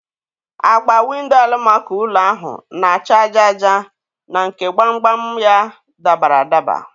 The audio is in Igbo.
Agba Windo alamako ụlọ ahụ na-acha aja aja na nke gbam gbam ya dabara adaba.